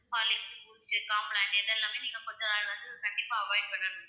horlicks, boost, complan இதெல்லாமே நீங்க கொஞ்ச நாள் வந்து கண்டிப்பா avoid பண்ணனும் ma'am